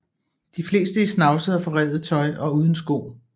De fleste i snavset og forrevet tøj og uden sko